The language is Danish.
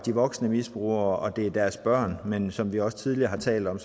voksne misbrugere og deres børn men som vi også tidligere har talt om